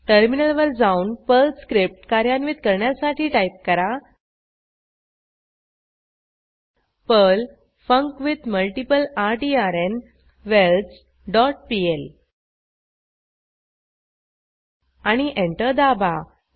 टर्मिनलवर जाऊन Perl script कार्यान्वित करण्यासाठी टाईप करा पर्ल फंक्विथमल्टीप्लर्टर डॉट पीएल आणि एंटर दाबा